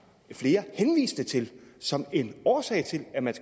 flere henviste til som en årsag til at man